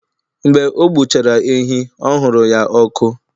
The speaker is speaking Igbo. Mgbe ọ gbuchara ehi ọ huru ya ọkụ